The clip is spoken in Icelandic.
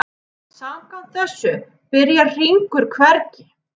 Samkvæmt þessu byrjar hringur hvergi.